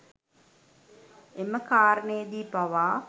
එම කාරණයේදී පවා